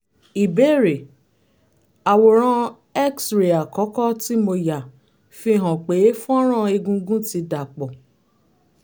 ìbéèrè: àwòrán x-ray àkọ́kọ́ tí mo yà fihàn pé àwọn fọ́nrán egungun ti dà pọ̀